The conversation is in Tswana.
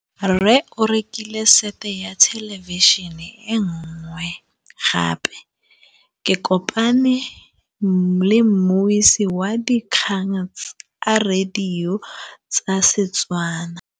Rre o rekile sete ya thêlêbišênê e nngwe gape. Ke kopane mmuisi w dikgang tsa radio tsa Setswana.